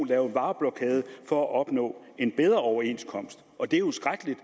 lave vareblokade for at opnå en bedre overenskomst og det er jo skrækkeligt